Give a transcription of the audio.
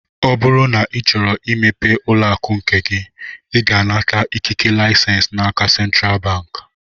Ọ bụrụ na ị chọrọ imepe ụlọakụ nke gị, ị ga-anata ikike lisens n'aka sentral bank